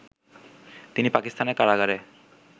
তিনি পাকিস্তানের কারাগারে